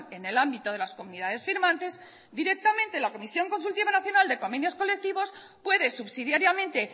en el ámbito de las comunidades firmante directamente la comisión consultiva nacional de convenios colectivos puede subsidiariamente